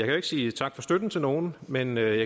jo ikke sige tak for støtten til nogen men jeg